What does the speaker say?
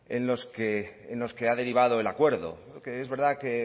en los que ha derivado el acuerdo porque es verdad que